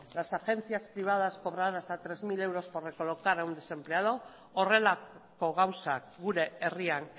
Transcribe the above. las agencias privadas cobrarán hasta hiru mila euros por recolocar a un desempleado horrelako gauzak gure herrian